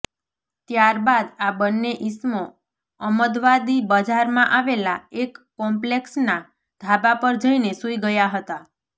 ત્યારબાદ આ બન્ને ઇસમો અમદવાદી બજારમાં આવેલા એક કોમ્પલેક્ષના ધાબા પર જઇને સૂઇ ગયા હતા